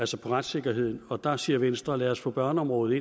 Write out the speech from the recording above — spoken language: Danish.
til retssikkerheden og der siger venstre lad os få børneområdet